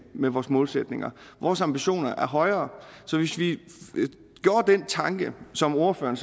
med vores målsætninger vores ambitioner er højere så hvis vi gjorde den tanke som ordføreren